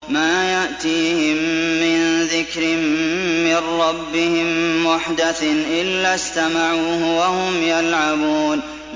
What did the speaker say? مَا يَأْتِيهِم مِّن ذِكْرٍ مِّن رَّبِّهِم مُّحْدَثٍ إِلَّا اسْتَمَعُوهُ وَهُمْ يَلْعَبُونَ